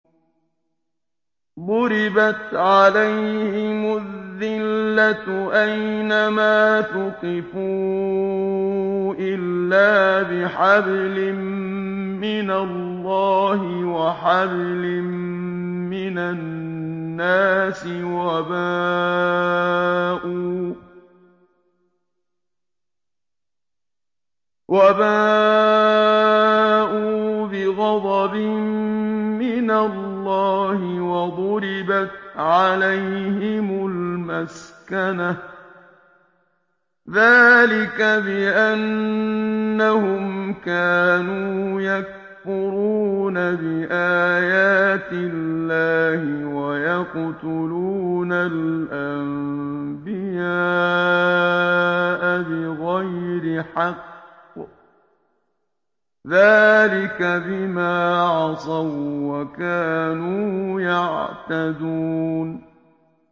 ضُرِبَتْ عَلَيْهِمُ الذِّلَّةُ أَيْنَ مَا ثُقِفُوا إِلَّا بِحَبْلٍ مِّنَ اللَّهِ وَحَبْلٍ مِّنَ النَّاسِ وَبَاءُوا بِغَضَبٍ مِّنَ اللَّهِ وَضُرِبَتْ عَلَيْهِمُ الْمَسْكَنَةُ ۚ ذَٰلِكَ بِأَنَّهُمْ كَانُوا يَكْفُرُونَ بِآيَاتِ اللَّهِ وَيَقْتُلُونَ الْأَنبِيَاءَ بِغَيْرِ حَقٍّ ۚ ذَٰلِكَ بِمَا عَصَوا وَّكَانُوا يَعْتَدُونَ